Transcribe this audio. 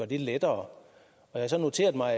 det lettere jeg har så noteret mig